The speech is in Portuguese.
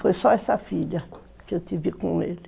Foi só essa filha que eu tive com ele.